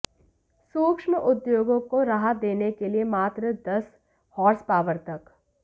सूक्ष्म उद्योगों को राहत देने के लिये मात्र दस हार्स पावर तक